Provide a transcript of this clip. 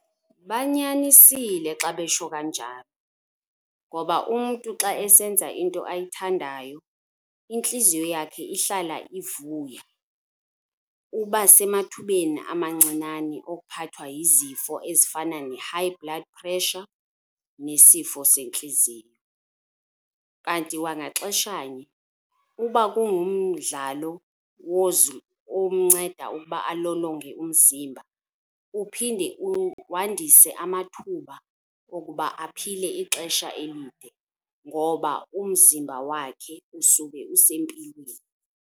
Banyanisile xa besho kanjalo ngoba umntu xa esenza into ayithandayo intliziyo yakhe ihlala ivuya. Uba semathubeni amancinane okuphathwa yizifo ezifana ne-high blood pressure nesifo sentliziyo. Kanti kwangaxeshanye kuba kungumdlalo omnceda ukuba alolonge umzimba, uphinde wandise amathuba wokuba aphile ixesha elide ngoba umzimba wakhe usuke usempilweni.